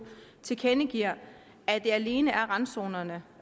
tilkendegiver at det alene er randzonerne